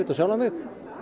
sjálfan mig